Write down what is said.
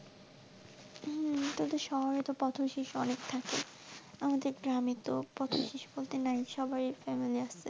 হম তোদের শহরে তো পথশিশু অনেক থাকে আমাদের গ্রামে তো পথশিশু বলতে নাই, সবারই family আছে.